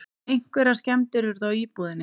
Einhverjar skemmdir urðu á íbúðinni